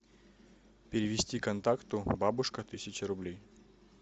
перевести контакту бабушка тысяча рублей